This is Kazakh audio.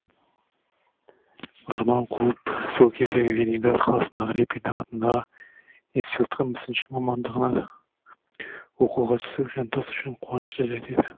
арман қуып сол кездегі ленинград қаласындағы репин атындағы институтқа мүсінші мамандығына оқуға түсу жантас үшін қуанышты жәйт еді